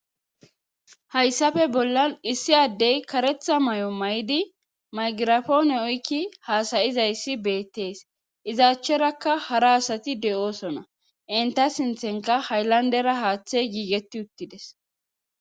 hayssafe bollan issi addey karetha mayo mayidi maygirapoone oykki haasayizayssi beettees izaachcherakka hara asati de'oosona inta sinthenka hayllandera haaththe giigetti uttides